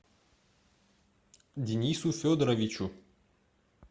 денису федоровичу